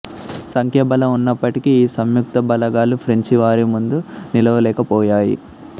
సంఖ్యాబలం ఉన్నప్పటికీ ఈ సంయుక్త బలగాలు ఫ్రెంచి వారి ముందు నిలవలేకపోయాయి